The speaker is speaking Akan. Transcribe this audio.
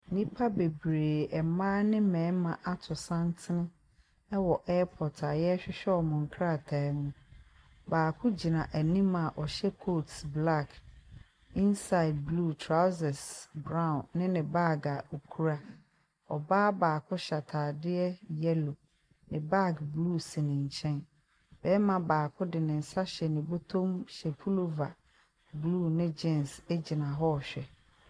Nnipa bebree; mmaa ne mmarima, ato santene wɔ airport a wɔrehwehwɛ wɔn nkrataa mu. Baako gyina anim a ɔhyɛ coat black, inside blue, trousers brown ne ne baage a ɔkura. Ɔbaa baako hyɛ atadeɛ yellow. Ne baage blue si ne nkyɛn. Barima baako de ne nsa ahyɛ ne botom hyɛ pullover blue ne jeans gyinahɔ rehwɛ.